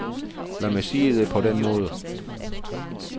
Lad mig sige det på den måde.